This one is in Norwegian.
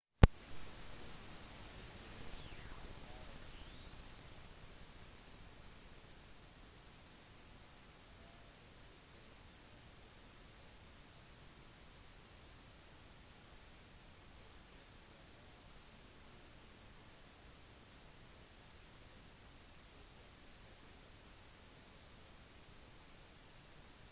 på listen over de 400 rikeste amerikanerne i 2008 ble batten rangert som nr 190 med en estimert formue på 2,3 milliarder dollar